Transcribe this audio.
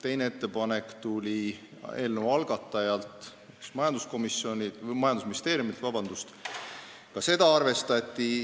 Teine ettepanek tuli eelnõu algatanud majandusministeeriumilt, ka seda arvestati.